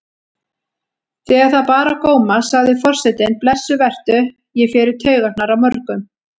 Þegar það bar á góma sagði forsetinn: Blessuð vertu, ég fer í taugarnar á mörgum.